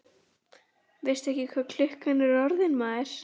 Veistu ekki hvað klukkan er orðin, maður?